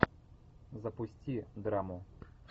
запусти драму